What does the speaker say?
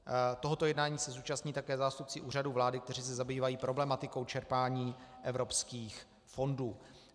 Tohoto jednání se zúčastní také zástupci Úřadu vlády, kteří se zabývají problematikou čerpání evropských fondů.